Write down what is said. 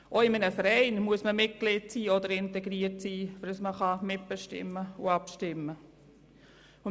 Auch in einem Verein muss man Mitglied oder integriert sein, damit man mitbestimmen und abstimmen kann.